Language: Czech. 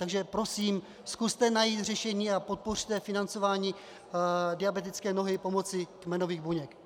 Takže prosím, zkuste najít řešení a podpořte financování diabetické nohy pomocí kmenových buněk.